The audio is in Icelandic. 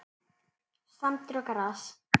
Sandur og gras.